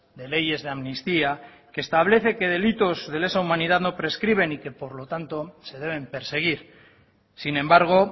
de leyes de amnistía que establece que delitos de esa humanidad no prescriben y que por lo tanto se deben perseguir sin embargo